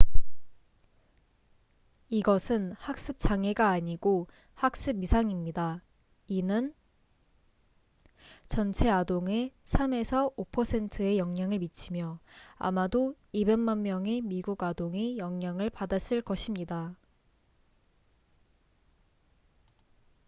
"이것은 학습 장애가 아니고 학습 이상입니다. 이는 "전체 아동의 3~5%에 영향을 미치며 아마도 2백만 명의 미국 아동이 영향을 받았을 것입니다"".